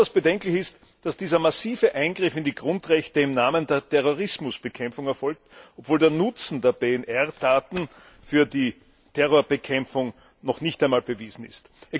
Besonders bedenklich ist, dass dieser massive Eingriff in die Grundrechte im Namen der Terrorismusbekämpfung erfolgt, obwohl der Nutzen der PNR Daten für die Terrorismusbekämpfung noch nicht einmal bewiesen ist.